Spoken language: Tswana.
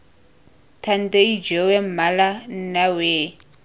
thando ijoowee mmalo nna wee